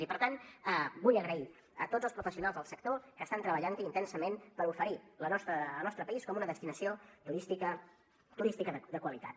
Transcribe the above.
i per tant vull donar les gràcies a tots els professionals del sector que estan treballant hi intensament per oferir el nostre país com una destinació turística de qualitat